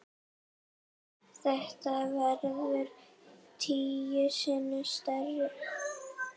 Þetta verður tíu sinnum stærra.